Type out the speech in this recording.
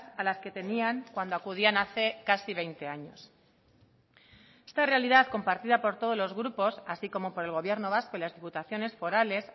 a las que tenían cuando acudían hace casi veinte años esta realidad compartida por todos los grupos así como por el gobierno vasco y las diputaciones forales